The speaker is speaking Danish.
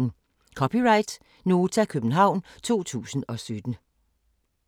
(c) Nota, København 2017